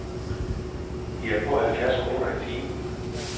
De er på halvfjerds kroner i timen.